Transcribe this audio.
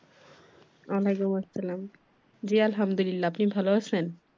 ওয়ালাইকুম আসসালাম জি আলহামদুলিল্লাহ। আপনি ভালো আছেন?